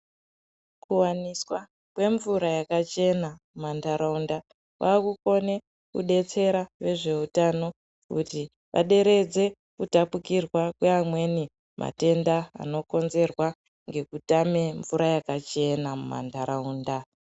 Kuwaniswa kwemvura yakachena mumantaraunda, kwakukone kudetsera vezveutano kuti vaderedze kutapukirwa kweamweni matenda anokonzerwa ngekutame mvura yakachena mumantaraunda.